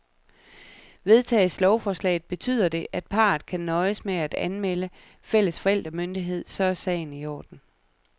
Vedtages lovforslaget, betyder det, at parret kan nøjes med at anmelde fælles forældremyndighed, så er sagen i orden.